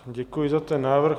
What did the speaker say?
Děkuji za ten návrh.